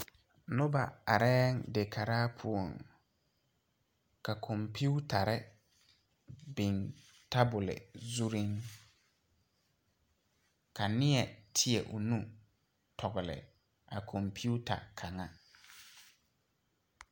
Noba areɛɛŋ de karaa poɔŋ ka kɔmpiutarre biŋ tabole zurreŋ ka nie tēɛ o nu tɔgle a kɔmpiuta kaŋa.